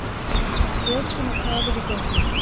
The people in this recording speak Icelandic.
Lokun og tafir í göngum